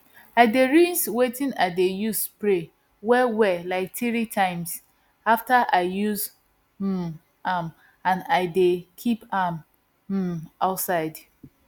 i dey rinse wetin i dey use spray wellwell like three times after i use um am and i dey keep am um outside